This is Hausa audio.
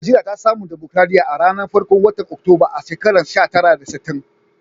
Nijeriya ta samu dimokuradiyya a'ranan farkon wotan Oktoba a'shekara sha tara da sitin.